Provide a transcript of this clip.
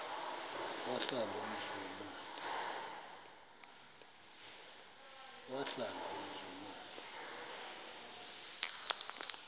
wahlala umzum omde